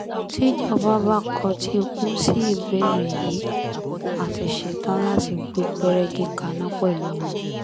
tíjọba bá kọtí ikún sí ìbéèrè yìí á ti ṣetán láti gbé pẹ́rẹ́gi kaná pẹ̀lú wọn